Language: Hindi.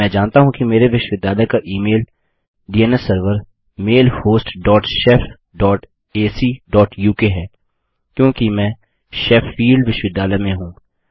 मैं जानता हूँ कि मेरे विश्वविद्यालय का e mail DNS server mailhost dot shef dot AC dot UK है क्योंकि मैं शेफील्ड विश्वविद्यालय में हूँ